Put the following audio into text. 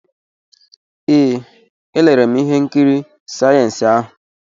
Ee, elere m ihe nkiri sayensị ahụ.